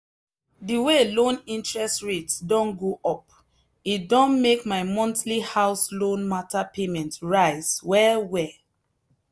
the way loan interest rate don go up e don make my monthly house loan matter payment rise well well.